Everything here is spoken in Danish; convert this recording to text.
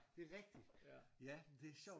Det er rigtigt ja men det er sjovt